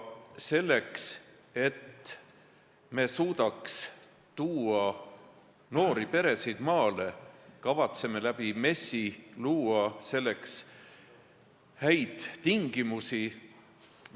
Selleks, et maale tuua noori peresid, me kavatseme MES-i abil neid tingimusi parandada.